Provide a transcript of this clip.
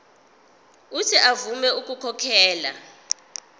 uuthi avume ukukhokhela